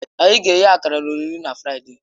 Anyị ga-eghe akara na olili na Fraịde.